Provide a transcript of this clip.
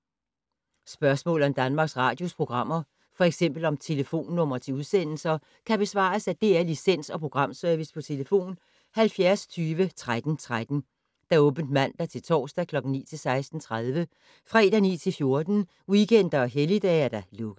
Spørgsmål om Danmarks Radios programmer, f.eks. om telefonnumre til udsendelser, kan besvares af DR Licens- og Programservice: tlf. 70 20 13 13, åbent mandag-torsdag 9.00-16.30, fredag 9.00-14.00, weekender og helligdage: lukket.